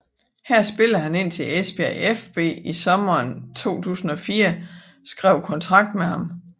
Her spillede han indtil Esbjerg fB i sommeren 2004 skrev kontrakt med ham